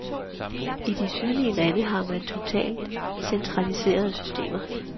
I de sydlige lande har man totalt centraliserede systemer.